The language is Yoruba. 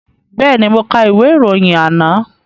Bẹ́ẹ̀ni, mo ka ìwé ìròyìn àná